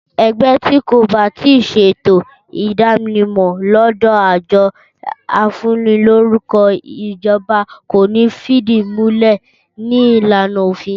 Ẹgbẹ́ ti kò ba tíì ṣe ètò ìdánimọ̀ lódò àjọ afúnilórúkọ ìjọba kò ní fídìmúlẹ̀ ní ìlànà òfin